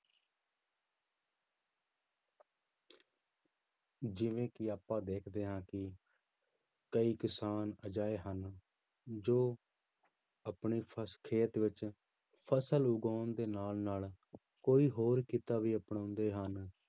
ਜਿਵੇਂ ਕਿ ਆਪਾਂ ਦੇਖਦੇ ਹਾਂ ਕਿ ਕਈ ਕਿਸਾਨ ਅਜਿਹੇ ਹਨ ਜੋ ਆਪਣੇ ਫ਼ਸ ਖੇਤ ਵਿੱਚ ਫ਼ਸਲ ਉਗਾਉਣ ਦੇ ਨਾਲ ਨਾਲ ਕੋਈ ਹੋਰ ਕਿੱਤਾ ਵੀ ਅਪਣਾਉਂਦੇ ਹਨ